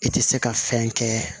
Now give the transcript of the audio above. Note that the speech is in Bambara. I tɛ se ka fɛn kɛ